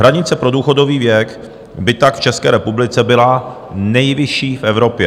Hranice pro důchodový věk by tak v České republice byla nejvyšší v Evropě.